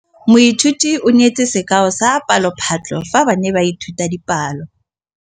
Moithuti o neetse sekaô sa palophatlo fa ba ne ba ithuta dipalo.